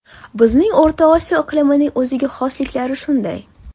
Bizning O‘rta Osiyo iqlimining o‘ziga xosliklari shunday.